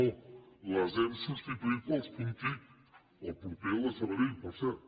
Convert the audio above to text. no les hem substituït pels punts tic el proper el de sabadell per cert